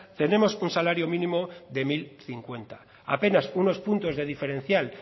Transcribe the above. tenemos un salario mínimo de mil cincuenta apenas unos puntos de diferencial